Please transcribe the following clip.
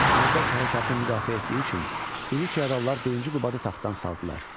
Məzdək hərəkatını müdafiə etdiyi üçün iri feodallar Birinci Qubadı taxtdan saldılar.